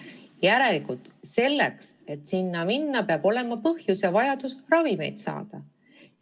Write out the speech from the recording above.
Järelikult selleks, et sinna minna, peab olema põhjus ja vajadus ravimeid saada.